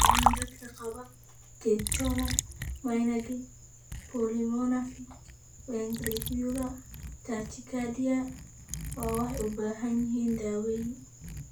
Dhammaan dadka qaba catecholaminergic polymorphic ventricular tachycardia ma waxay u baahan yihiin daaweyn?